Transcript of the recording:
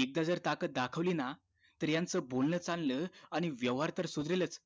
एकदा जर ताकद दाखवली ना यांचं बोलण चालले आणि व्यवहार तर सुधारेलच